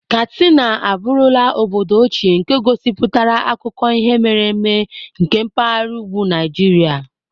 Katsina abụrula obodo ochie nke gosipụtara akụkọ ihe mere eme nke mpahara ugwu Naijiria.